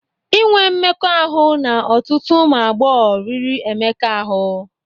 Enwe mmekọahụ na ọtụtụ ụmụ agbọghọ riri Emeka ahu.